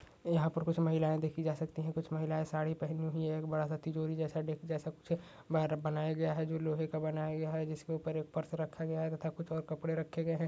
यहाँ पर कुछ महिलाए देखी जा सकती हैं। कुछ महिलाए साड़ी पहनी हुई है। एक बड़ा सा तिजोरी जैसा डेक जैसा कुछ बाहर बनाया गया है जो लोहे का बनाया गया है। जिसके ऊपर एक पर्स रखा गया है तथा कुछ और कपड़े रखे गए हैं।